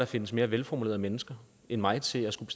findes mere velformulerede mennesker end mig til at skulle